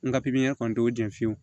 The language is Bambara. N ka pipiɲe kɔni t'o jɛn fiyewu